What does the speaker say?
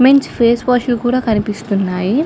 Men's face wash లు కూడా కనబడుతున్నాయి.